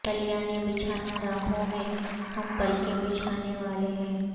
کلیاں نہ بچھانا راہوں میں ہم پلکیں بچھانے والے ہیں